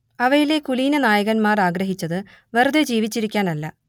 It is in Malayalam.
അവയിലെ കുലീനനായകന്മാർ ആഗ്രഹിച്ചത് വെറുതേ ജീവിച്ചിരിക്കാനല്ല